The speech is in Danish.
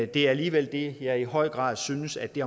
det er alligevel det jeg i høj grad synes at det